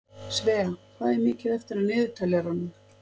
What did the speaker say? Svea, hvað er mikið eftir af niðurteljaranum?